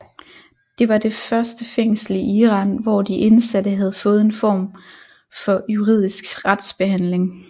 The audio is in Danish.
Det var det første fængsel i Iran hvor de indsatte havde fået en form for juridisk retsbehandling